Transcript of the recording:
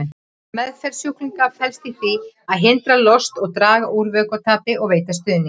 Meðferð sjúklinga felst í því að hindra lost, draga úr vökvatapi og veita stuðning.